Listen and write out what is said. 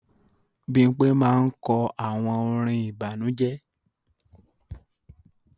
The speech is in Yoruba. Bimpe máa n kọ àwọn orin ìbànújẹ